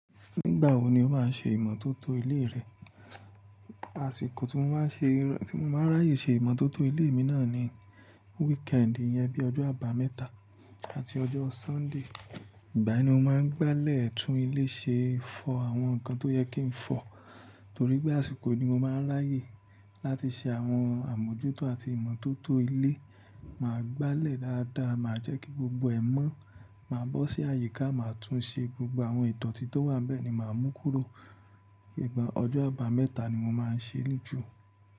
Nígbà wo ni o máa ṣe ìmọ́tótó ilé rẹ? Àsìkò tí mo máa ń ráyè ṣe ìmọ́tótó ilé mi náà ni weekend, iyẹn bí ojó Àbámẹ́ta àti ọjọ́ Sunday. Ìgbà yẹn ni mo máa ń gbálẹ̀ tún ilé ṣe, fọ àwọn nǹkan tó yẹ kí n fọ. Torí pé àsìkò ni mo máa ń ráyè láti ṣe àwọn àmójútó àti ìmọ́tótó ilé, màá gbálẹ̀ dáadáa, màá jẹ́ kí gbogbo ẹ̀ mọ́, màá bọ́ sí àyíká, màá tún ṣe gbogbo àwọn ìdọtí tó wà ń bẹ́ẹ̀ ni màá mú kúrò. Ìgbà ọjọ́ Àbámẹ́ta ni mo máa ń ṣe é jù.